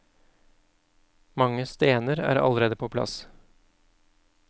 Mange stener er allerede på plass.